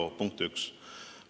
See on punkt üks.